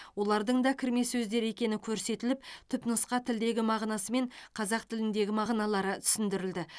олардың да кірме сөздер екені көрсетіліп түпнұсқа тілдегі мағынасы мен қазақ тіліндегі мағыналары түсіндірілді